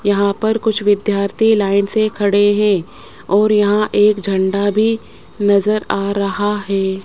यहां पर कुछ विद्यार्थी लाइन से खड़े हैं और यहां एक झंडा भी नजर आ रहा है।